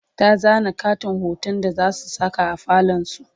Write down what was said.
ta zana ƙaton hoton da zasu Saka a falon su